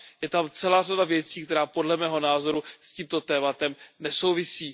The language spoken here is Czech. Je tam celá řada věcí, která podle mého názoru s tímto tématem nesouvisí.